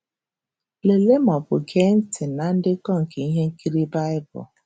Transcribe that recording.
Lelee ma ọ bụ gee ntị na ndekọ nke ihe nkiri Baịbụl.